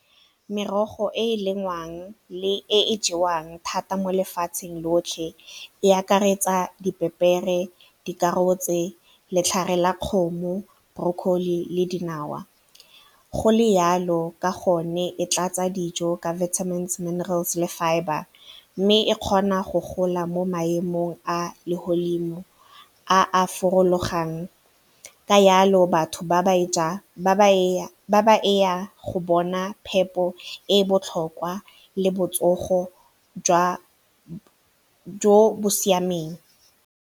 Merogo e e lengwang le e e jewang thata mo lefatsheng lotlhe e akaretsa dipepere, dikarotse, letlhare la kgomo, broccoli le dinawa. Go le yalo ka gonne e tla tsa dijo ka vitamins, minerals le fibre mme e kgona go gola mo maemong a legodimo a a ka yalo batho ba go bona phepo e botlhokwa le botsogo jo bo siameng.